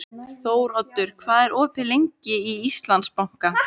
Þóroddur, hvað er opið lengi í Íslandsbanka?